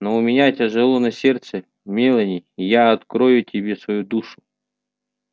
но у меня тяжело на сердце мелани и я открою тебе свою душу